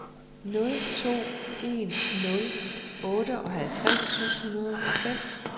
nul to en nul otteoghalvtreds syv hundrede og fem